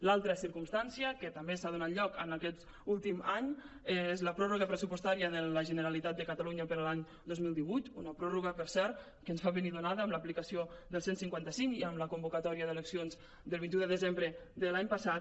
l’altra circumstància que també s’ha donat en aquest últim any és la pròrroga pressupostària de la generalitat de catalunya per a l’any dos mil divuit una pròrroga per cert que ens va venir donada amb l’aplicació del cent i cinquanta cinc i amb la convocatòria d’elec·cions del vint un de desembre de l’any passat